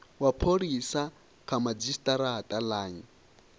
wa pholisa kha madzhisitirata line